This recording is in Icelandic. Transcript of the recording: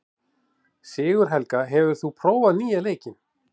Sigurhelga, hefur þú prófað nýja leikinn?